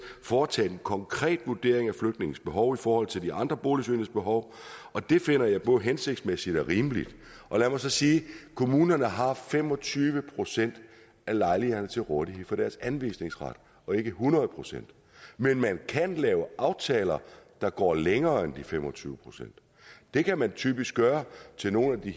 foretaget en konkret vurdering af flygtningens behov i forhold til de andre boligsøgendes behov og det finder jeg både hensigtsmæssigt og rimeligt lad mig så sige kommunerne har fem og tyve procent af lejlighederne til rådighed for deres anvisningsret og ikke hundrede procent men man kan lave aftaler der går længere end de fem og tyve procent det kan man typisk gøre til nogle af de